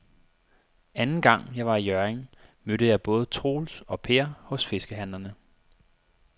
Anden gang jeg var i Hjørring, mødte jeg både Troels og Per hos fiskehandlerne.